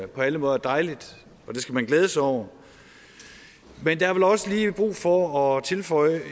på alle måder dejligt og det skal man glæde sig over men der er vel også lige brug for at tilføje